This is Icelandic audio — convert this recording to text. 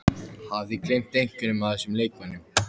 Hafið þið gleymt einhverjum af þessum leikmönnum?